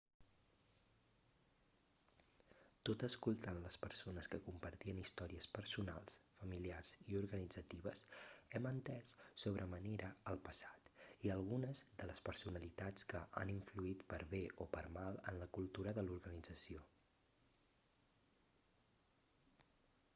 tot escoltant les persones que compartien històries personals familiars i organitzatives hem entès sobre manera el passat i algunes de les personalitats que han influït per bé o per mal en la cultura de l'organització